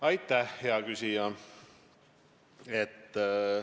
Aitäh, hea küsija!